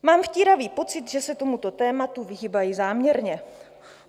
Mám vtíravý pocit, že se tomuto tématu vyhýbají záměrně.